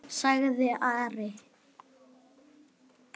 sagði Ari.